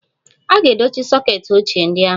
A ga-dochie soket ochie ndị ahụ.